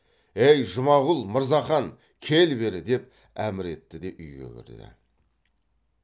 ей жұмағұл мырзахан кел бері деп әмір етті де үйге кірді